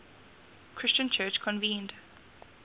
christian church convened